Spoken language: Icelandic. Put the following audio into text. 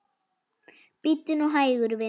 Bíddu nú hægur, vinur.